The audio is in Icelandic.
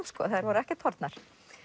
þær voru ekkert horfnar